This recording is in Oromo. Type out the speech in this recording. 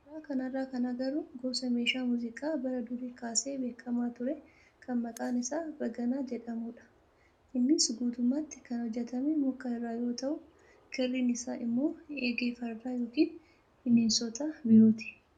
Suuraa kanarraa kan agarru gosa meeshaa muuziqaa bara durii kaasee beekamaa ture kan maqaan isaa baganaa jedhamudha. Innis guutummaatti kan hojjatame muka irraa yoo ta'u kirriin isaa immoo eegee fardaa yookiin bineensota birooti.